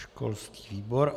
Školský výbor.